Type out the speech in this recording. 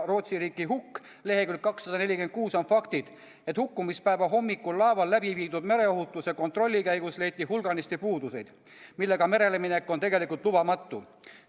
Rootsi riiki hukk" leheküljel 246 on faktid, et hukkumispäeva hommikul laeval läbiviidud mereohutuse kontrolli käigus leiti hulganisti puudusi, millega mereleminek on tegelikult lubamatu.